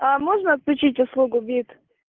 а можно отключить услугу бит